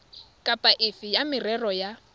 kapa efe ya merero ya